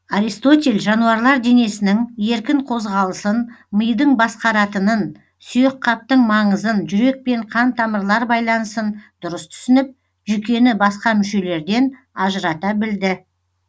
аристотель жануарлар денесінің еркін қозғалысын мидың басқаратынын сүйекқаптың маңызын жүрек пен қан тамырлар байланысын дұрыс түсініп жүйкені басқа мүшелерден ажырата білді